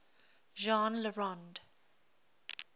jean le rond